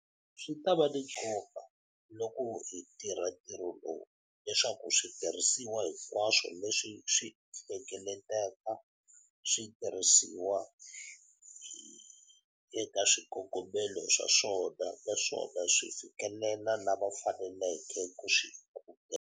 Swi ta va ni nkoka, loko hi tirha ntirho lowu, leswaku switirhisiwa hinkwaswo leswi hi swi hlengeletaka swi tirhisiwa eka swikongomelo swa swona naswona swi fikelela lava faneleke ku swi amukela.